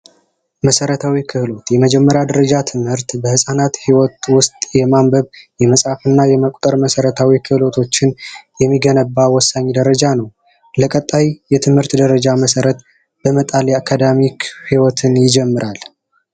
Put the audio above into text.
መሰረታዊ ክህሎት የመጀመሪያ ደረጃ ትምህርት በህፃናት ህይወት ውስጥ የማንበብ ፣የመፃፍ እና የመቁጠር መሰረታዊ ክህሎቶችን የሚገነባ ወሳኝ ደረጃ ነው። ለቀጣይ የትምህርት ደረጃ መሰረት በመጣል የአካዳሚክ ህይወትን ይጀምራል።